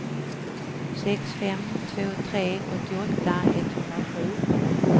sex fem två tre åttioåtta etthundrasju